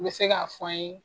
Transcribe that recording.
N'i bɛ se k'a fɔ an ye?